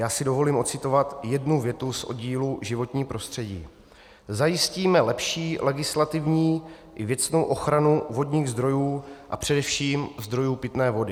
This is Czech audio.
Já si dovolím ocitovat jednu větu z oddílu Životní prostředí: "Zajistíme lepší legislativní i věcnou ochranu vodních zdrojů a především zdrojů pitné vody."